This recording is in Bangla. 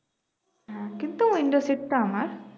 হ্যাঁ কিন্তু window seat টা আমার